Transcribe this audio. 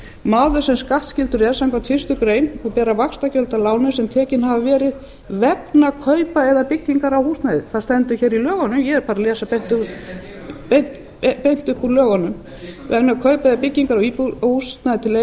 maður sem skattskyldur er samkvæmt fyrstu grein og bera vaxtagjöld af láni sem tekin hafa verið vegna kaupa eða byggingar á húsnæði það stendur hér í lögunum ég er bara að lesa beint upp úr lögunum vegna kaupa eða byggingar á húsnæði til